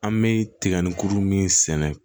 An bɛ tiga ni kurun min sɛnɛ